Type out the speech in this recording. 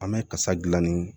An bɛ kasa dilanni